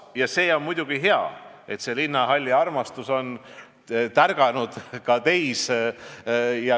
See on muidugi hea, et linnahalliarmastus on tärganud ka teis.